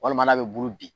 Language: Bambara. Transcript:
Walima n'a bɛ bulu bin